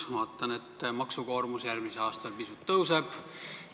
Meie maksukoormus järgmisel aastal pisut tõuseb.